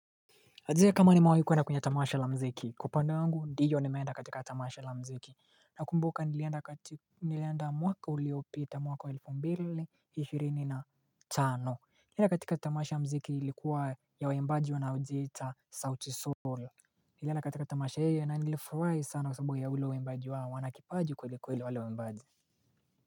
Adizia kama nimawai kuenda kwenye tamasha la mziki. Kwa upande wangu, ndiyo nimeenda katika tamasha la mziki. Nakumbuka nilienda mwaka uliopita mwaka wa elfu mbili ishirini na tano. Nilienda katika tamasha la mziki ilikuwa ya waimbaji wanaojiita sauti Sol. Nilienda katika tamasha hiyo na nilifurahi sana kwa sababu ya ule uimbaji wao wana kipaji kweli kweli wale waimbaji.